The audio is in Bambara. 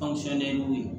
ye dugu ye